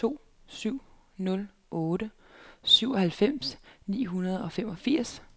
to syv nul otte syvoghalvfjerds ni hundrede og femogfirs